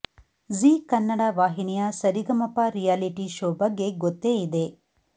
ಜೀ ಕನ್ನಡ ವಾಹಿನಿಯ Sa Re Ga Ma Pa reality show ಬಗ್ಗೆ ಗೊತ್ತೇ ಇದೆ